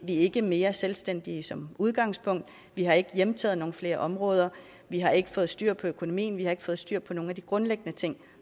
ikke mere selvstændige som udgangspunkt vi har ikke hjemtaget nogle flere områder vi har ikke fået styr på økonomien vi har ikke fået styr på nogle af de grundlæggende ting